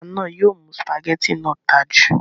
ata náà yóò mú sùpàgẹ́tì náà ta jù